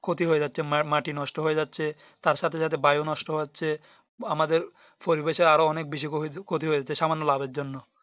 ক্ষতি হয়ে যাচ্ছে মাটি নষ্ট হয়ে যাচ্ছে তার সাথে সাথে বায়ু নষ্ট হয়ে যাচ্ছে আমাদের পরিবেশের আরো অনেক বেশি ক্ষতি হয়ে যাচ্ছে সামান্য লেভার জন্য